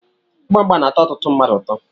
Igba mgba na-atọ ọtụtụ mmadụ ụtọ.